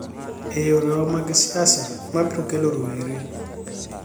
e yore magwa mag siasa, ma biro kelo rowere